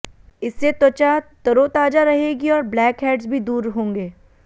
इससे त्वचा तरोताजा रहेगी और ब्लैक हैड्स भी दूर होंगे